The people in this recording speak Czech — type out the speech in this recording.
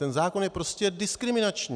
Ten zákon je prostě diskriminační.